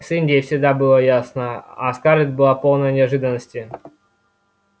с индией всегда все было ясно а скарлетт была полной неожиданности